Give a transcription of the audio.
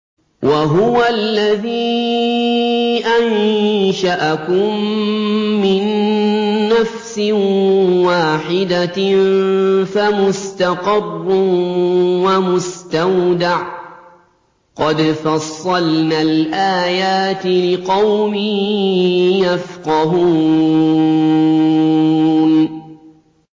وَهُوَ الَّذِي أَنشَأَكُم مِّن نَّفْسٍ وَاحِدَةٍ فَمُسْتَقَرٌّ وَمُسْتَوْدَعٌ ۗ قَدْ فَصَّلْنَا الْآيَاتِ لِقَوْمٍ يَفْقَهُونَ